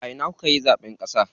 A ina kukayi zaɓen ƙasa?